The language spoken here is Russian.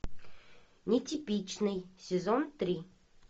нетипичный сезон три